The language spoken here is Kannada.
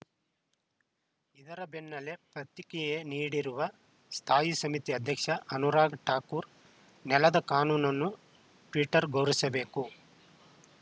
ಇದರ ಬೆನ್ನಲ್ಲೇ ಪ್ರತಿಕಿಯೆ ನೀಡಿರುವ ಸ್ಥಾಯಿ ಸಮಿತಿ ಅಧ್ಯಕ್ಷ ಅನುರಾಗ್‌ ಠಾಕೂರ್‌ ನೆಲದ ಕಾನೂನನ್ನು ಟ್ವೀಟರ್‌ ಗೌರವಿಸಬೇಕು